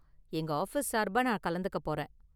எங்க ஆஃபீஸ் சார்பா நான் கலந்துக்க போறேன்.